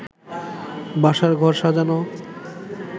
বাসর ঘর সাজানো